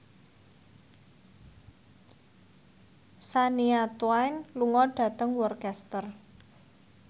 Shania Twain lunga dhateng Worcester